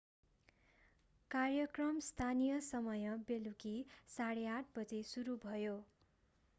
कार्यक्रम स्थानीय समय बेलुकी 8:30 15.00 utc बजे सुरु भयो।